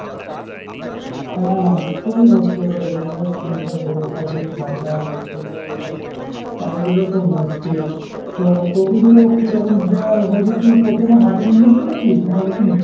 হ্যাঁ হ্যাঁ খুবই কষ্টের weather এর শীত যা পড়েছে খুবই ঠাণ্ডা লাগছে, এ করছে চারিদিকে খুব মুশকিল। তো কপি গুলো কিরকম দেওয়া হয়েছে? তু কপি এখন হাটে নিয়ে যাচ্ছিস নাকি? না ওঠেনি?